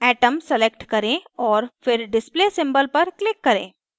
atom atom select करें और फिर display symbol पर click करें